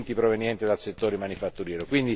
proveniente dal settore manifatturiero.